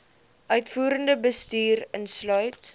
uitvoerende bestuur insluit